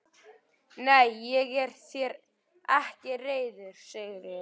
Nei, ég er þér ekki reiður Sigríður.